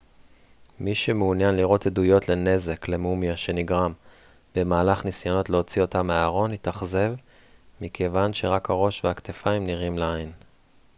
מי שמעוניין לראות עדויות לנזק למומיה שנגרם במהלך ניסיונות להוציא אותה מהארון יתאכזב מכיוון שרק הראש והכתפיים נראים לעין